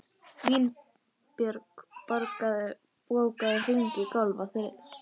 Vinbjörg, bókaðu hring í golf á þriðjudaginn.